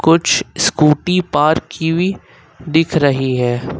कुछ scooty park की हुई दिख रही है।